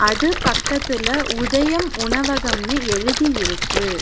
அது பக்கத்துல உதயம் உணவகம்னு எழுதியிருக்கு.